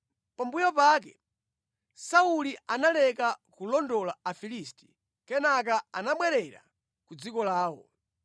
Pambuyo pake Sauli analeka kulondola Afilisti, kenaka anabwerera ku dziko lawo.